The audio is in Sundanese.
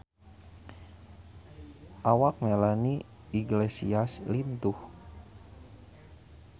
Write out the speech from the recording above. Awak Melanie Iglesias lintuh